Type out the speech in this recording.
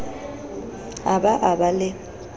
a ba a ba le